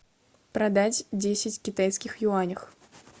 продать десять китайских юанях